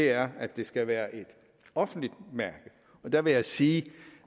er at det skal være et offentligt mærke der vil jeg sige